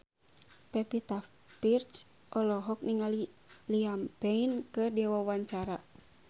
Pevita Pearce olohok ningali Liam Payne keur diwawancara